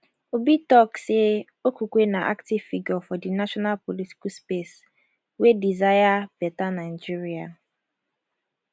obi tok say okupe na active figure for di national political space wey desire beta nigeria